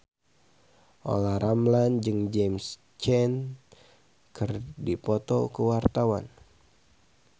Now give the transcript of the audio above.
Olla Ramlan jeung James Caan keur dipoto ku wartawan